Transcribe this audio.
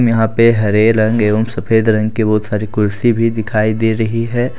यहां पे हरे रंग एवं सफेद रंग की बहुत सारी कुर्सी भी दिखाई दे रही है।